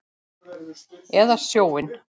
Eða sjóinn?